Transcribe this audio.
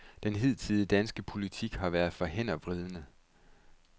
Den hidtidige danske politik har været for hændervridende.